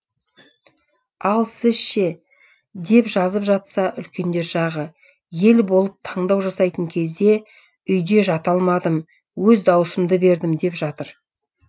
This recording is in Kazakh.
ал сіз ше деп жазып жатса үлкендер жағы ел болып таңдау жасайтын кезде үйде жата алмадым өз дауысымды бердім деп жатыр